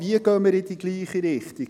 Wie gehen wir in die gleiche Richtung?